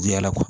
Diyan kɔ